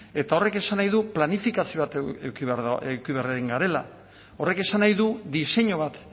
eta horrek esan nahi du planifikazio bat eduki beharrean garela horrek esan nahi du diseinu bat